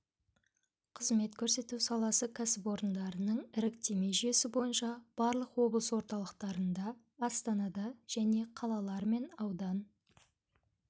қызмет көрсету саласы кәсіпорындарының іріктеме жүйесі бойынша барлық облыс орталықтарында астанада және қалалар мен аудан